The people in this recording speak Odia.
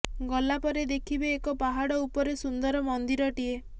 ଗଲା ପରେ ଦେଖିବେ ଏକ ପାହାଡ ଉପରେ ସୁନ୍ଦର ମନ୍ଦିରଟିଏ